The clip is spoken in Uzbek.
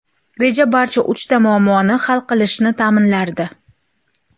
Reja barcha uchta muammoni hal qilishini ta’minlardi.